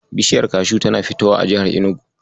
Bishiyar kashu tana fitowa a jihar Enugu.